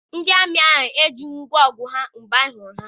Ndị amị ahụ ejighị ngwọ ọgụ ha mgbe anyị hụrụ ha.